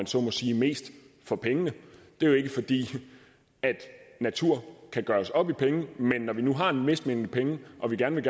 så må sige mest for pengene det er jo ikke fordi natur kan gøres op i penge men når vi nu har en vis mængde penge og vi gerne vil